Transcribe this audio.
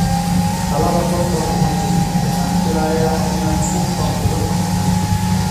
Dallada qolka kuma jirto, waxaan filayaa inaad suuqa uga tagtay.